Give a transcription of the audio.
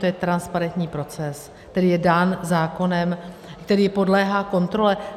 To je transparentní proces, který je dán zákonem, který podléhá kontrole.